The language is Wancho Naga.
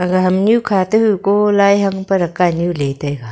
ga hamnyu kha to huko lai hang peraka nyu le taiga.